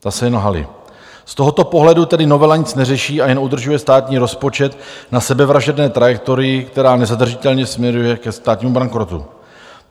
Z tohoto pohledu tedy novela nic neřeší a jen udržuje státní rozpočet na sebevražedné trajektorii, která nezadržitelně směřuje ke státnímu bankrotu.